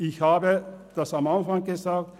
Ich habe es am Anfang gesagt: